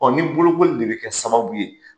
ni bolokoli de bɛ kɛ sababu ye